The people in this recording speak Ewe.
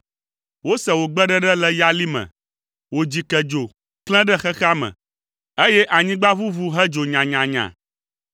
Wose wò gbeɖeɖe le yali me, wò dzikedzo klẽ ɖe xexea me, eye anyigba ʋuʋu hedzo nyanyanya.